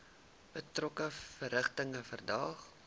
betrokke verrigtinge verdaag